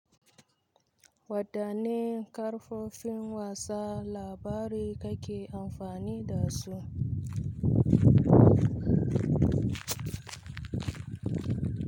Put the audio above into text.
Wadanne kafofin watsa labarai kake amfani da su?